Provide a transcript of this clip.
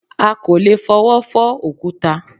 À kò lè fọwọ́ fọ́ òkúta